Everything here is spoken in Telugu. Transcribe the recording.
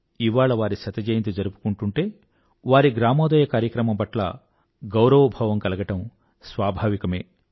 ఇవాళ వారి శతజయంతి జరుపుకుంటూంటే వారి గ్రామోదయ కార్యక్రమం పట్ల గౌరవభావం కలగడం స్వాభావికమే